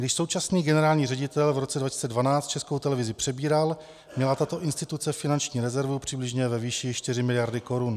Když současný generální ředitel v roce 2012 Českou televizi přebíral, měla tato instituce finanční rezervu přibližně ve výši čtyři miliardy korun.